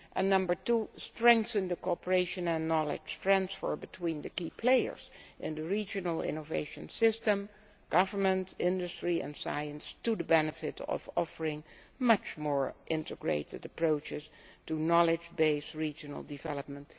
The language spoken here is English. Number two, strengthen cooperation and knowledge transfer between the key players in the regional innovation system governments, industry and science with the benefit of offering much more integrated approaches to knowledge based regional development.